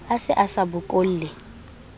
a se a sa bokolle